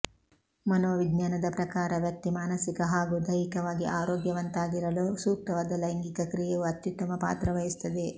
ಮನೋ ವಿಜ್ಞಾನದ ಪ್ರಕಾರ ವ್ಯಕ್ತಿ ಮಾನಸಿಕ ಹಾಗೂ ದೈಹಿಕವಾಗಿ ಆರೋಗ್ಯವಂತರಾಗಿರಲು ಸೂಕ್ತವಾದ ಲೈಂಗಿಕ ಕ್ರಿಯೆಯು ಅತ್ತುತ್ತಮ ಪಾತ್ರವಹಿಸುತ್ತದೆ